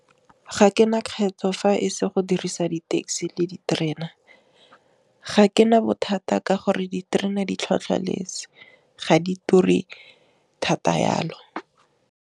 Ga ke na kgetho fa e se go dirisa di taxi le diterena ga ke na bothata ka gore diterena di tlhwatlhwaletse ga di ture thata yalo.